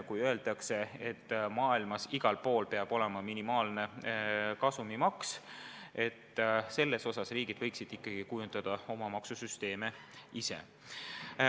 Kui öeldakse, et igal pool maailmas peab olema minimaalne kasumimaks, siis vaieldakse vastu, et riigid võiksid ikkagi kujundada oma maksusüsteeme ise.